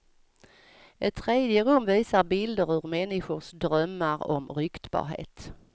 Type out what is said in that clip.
Ett tredje rum visar bilder ur människors drömmar om ryktbarhet.